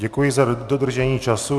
Děkuji za dodržení času.